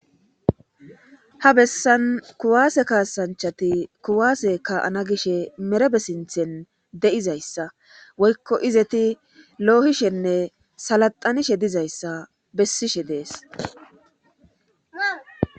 Ha bessan kuwaase kaasanchati kuwaase ka'ana gishshe merebe sinthen de'izayssa woykko izeti loohishenne salataanishe dizayssa bessishe dees